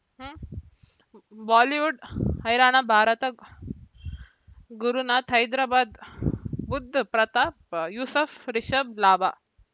Bollywood ಹೈರಾಣ ಭಾರತ ಗುರುನಾಥ ಹೈದರಾಬಾದ್ ಬುಧ್ ಪ್ರತಾಪ್ ಯೂಸುಫ್ ರಿಷಬ್ ಲಾಭ